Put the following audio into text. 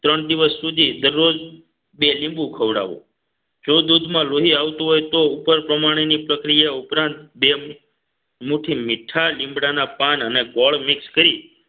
ત્રણ દિવસ સુધી દરરોજ બે લીંબુ ખવડાવો જો દૂધમાં લોહી આવતું હોય તો ઉપર પ્રમાણેની પ્રક્રિયા ઉપરાંત બે મુઠ્ઠી મીઠા લીમડાના પાન અને ગોળ mix કરી